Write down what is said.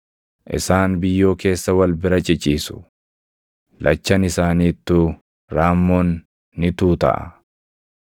Isaan biyyoo keessa wal bira ciciisu; lachan isaaniittuu raammoon ni tuutaʼa.